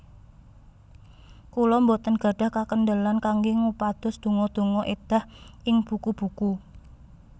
Kula boten gadhah kakendelan kanggé ngupados donga donga èdah ing buku buku